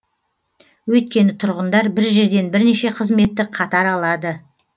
өйткені тұрғындар бір жерден бірнеше қызметті қатар алады